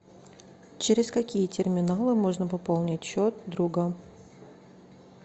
через какие терминалы можно пополнить счет друга